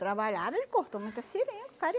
Trabalharam, ele cortou muita seringa, o